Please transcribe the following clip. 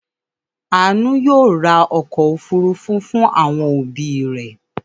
Àánú yóò ra ọkọ̀-òfurufú fún àwọn òbí rẹ̀.